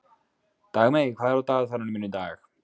Dagmey, hvað er á dagatalinu mínu í dag?